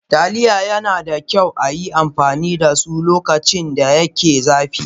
Taliya yana da kyau a yi amfani da su lokacin da yake zafi.